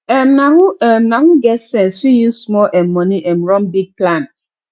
um na who um na who get sense fit use small um money um run big plan